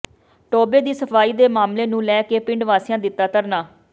ਟੋਭੇ ਦੀ ਸਫਾਈ ਦੇ ਮਾਮਲੇ ਨੂੰ ਲੈ ਕੇ ਪਿੰਡ ਵਾਸੀਆਂ ਦਿੱਤਾ ਧਰਨਾ